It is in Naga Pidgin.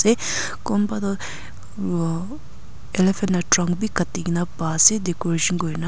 kumba toh umh elephant la trunk bi kati kene pa ase decoration kuri ne.